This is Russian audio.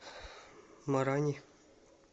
марани